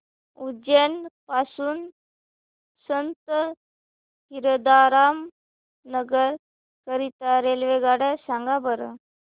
उज्जैन पासून संत हिरदाराम नगर करीता रेल्वेगाड्या सांगा बरं